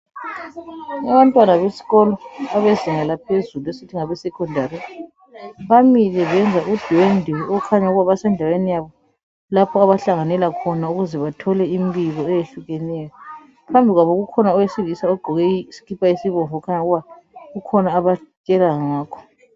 Abantwana besikolo abedlala phezulu esithi ngabesekhondari, bamile benza udwendwe okukhanya ukuthi basendaweni yabo lapha abahlanganela khona ukuze bathole imbiko eyehlukeneyo. Phambi kwabo kukhona owesiliza ogqoke isikipa esibomvu okukhanya ukuba kukhona abatshela ngakho.